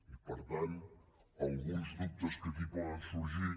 i per tant alguns dubtes que aquí poden sorgir